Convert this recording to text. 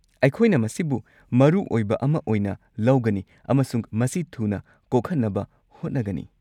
ꯑꯩꯈꯣꯏꯅ ꯃꯁꯤꯕꯨ ꯃꯔꯨ ꯑꯣꯏꯕ ꯑꯃ ꯑꯣꯏꯅ ꯂꯧꯒꯅꯤ ꯑꯃꯁꯨꯡ ꯃꯁꯤ ꯊꯨꯅ ꯀꯣꯛꯍꯟꯅꯕ ꯍꯣꯠꯅꯒꯅꯤ꯫